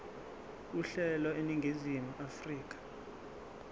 uhlelo eningizimu afrika